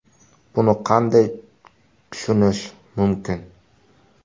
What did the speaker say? – Buni qanday tushunish mumkin?